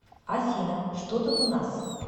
афина что тут у нас